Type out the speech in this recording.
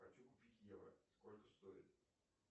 хочу купить евро сколько стоит